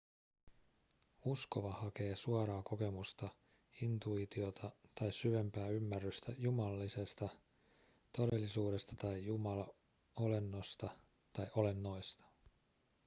uskova hakee suoraa kokemusta intuitiota tai syvempää ymmärrystä jumalallisesta todellisuudesta tai jumalolennosta tai olennoista